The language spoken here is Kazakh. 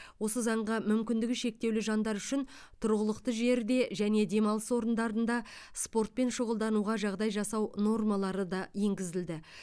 осы заңға мүмкіндігі шектеулі жандар үшін тұрғылықты жерде және демалыс орындарында спортпен шұғылдануға жағдай жасау нормалары да енгізілді